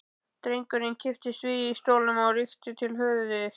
Drengurinn kipptist við í stólnum og rykkti til höfðinu.